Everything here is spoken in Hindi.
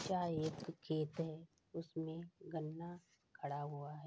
यह एक खेत है उसमें गन्ना खड़ा हुआ है।